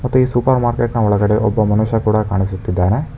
ಮತ್ತೆ ಈ ಸೂಪರ್ಮಾರ್ಕೆಟ್ ನ ಒಳಗಡೆ ಒಬ್ಬ ಮನುಷ್ಯ ಕೂಡ ಕಾಣಿಸುತ್ತಿದ್ದಾನೆ.